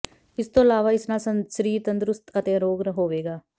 ਇਸ ਤੋਂ ਇਲਾਵਾ ਇਸ ਨਾਲ ਸਰੀਰ ਤੰਦੁਰੁਸਤ ਅਤੇ ਅਰੋਗ ਹੋਵੇਗਾ